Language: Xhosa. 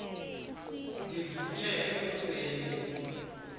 ndivuke eku seni